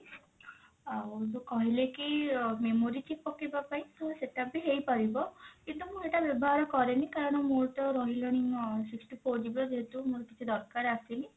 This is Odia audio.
ଆଉ ଯଉ କହିଲେ କି memory chip ପକେଇବା ପାଇଁ ତ ସେଟା ବି ହେଇପାରିବ ଯେହେତୁ ମୁଁ ଏଟା ବ୍ୟବହାର କାରେନି କାରଣ ମୋର ତ ରହିଲାଣି sixty four GB ର ଯେହେତୁ ମୋର କିଛି ଦରକାର ଆସିନି